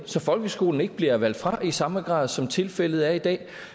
så folkeskolen ikke bliver valgt fra i samme grad som tilfældet er i dag